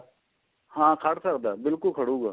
ਹਾਂ ਖੜ ਸਕਦਾ ਬਿਲਕੁਲ ਖੜੁਗਾ